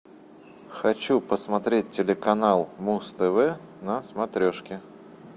хочу посмотреть телеканал муз тв на смотрешке